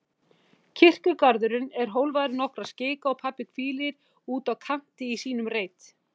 Kirkjugarðurinn er hólfaður í nokkra skika og pabbi hvílir úti á kanti í sínum reit.